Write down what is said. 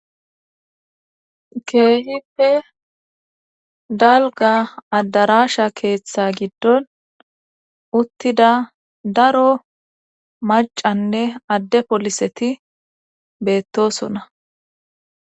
keehippe dalga addaraasha keeththa giddon uttida daro macanne adde poliseti beettosona